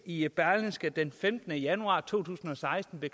i berlingske den femtende januar to tusind og seksten